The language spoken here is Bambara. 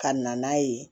Ka na n'a ye